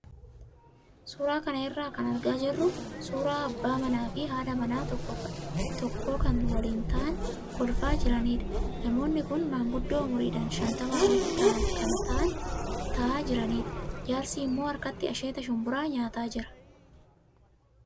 Suuraa kana irraa kan argaa jirru suuraa abbaa manaa fi haadha manaa tokkoo kan waliin taa'anii kolfaa jiranidha. Namoonni kun manguddoo umriidhaan shantamaa olii ta'anii kan taa'aa jiranidha. Jaarsi immoo harkatti asheeta shumburaa nyaataa jira.